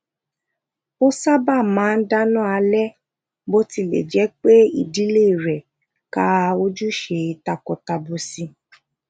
ò saba máa n dana ale botile je pé ìdílé re ka ojuse takotabo si